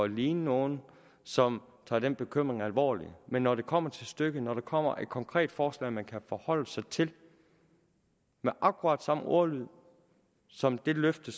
ligne nogle som tager den bekymring alvorligt men når det kommer til stykket når der kommer et konkret forslag man kan forholde sig til med akkurat samme ordlyd som det løfte